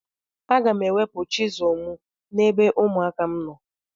Aga m ewepụ chizụl m n'ebe ụmụaka m nọ.